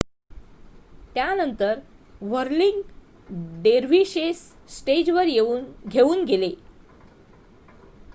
त्यानंतर whirling dervishes स्टेजवर घेऊन गेले